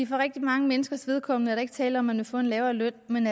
for rigtig mange menneskers vedkommende er der ikke tale om at få en lavere løn men